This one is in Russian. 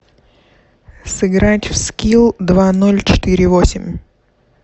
сыграть в скил два ноль четыре восемь